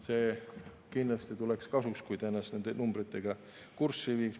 See tuleks kindlasti kasuks, kui ta ennast nende numbritega kurssi viiks.